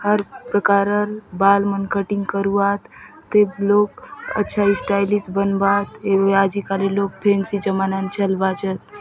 हर प्रकार र बाल मन कटिंग करुआत टे लोग अच्छा स्टाइलिश बनबा आत एव आजिकाली र लोग फैन्सी जमाना ने चलबाय चत।